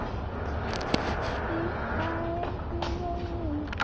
þúsund árum.